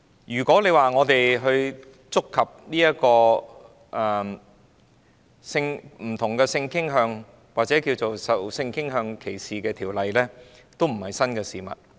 如果說，我們的辯論範圍觸及不同性傾向或受性傾向歧視的條例，這也並非新事物。